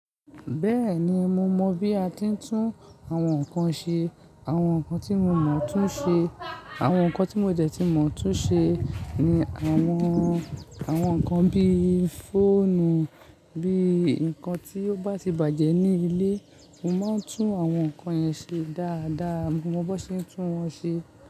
Bẹ́ẹ̀ni, mo mọ̀ bí a ti ń tún àwọn nǹkan ṣe. Àwọn nǹkan tí mo mọ̀ tún ṣe, àwọn nǹkan tí mo dẹ́ tí mo tún ṣe ni àwọn, àwọn nǹkan bí i fóònù, bí i nǹkan tí ó bá ti bàjẹ́ ní ilé. Mo máa ń tún àwọn nǹkan yẹn ṣe dáadáa. Mo mọ bọ ṣe ń tún wọ́n ṣe.